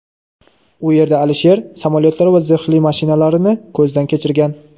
u yerda Aliyev samolyotlar va zirhli mashinalarini ko‘zdan kechirgan.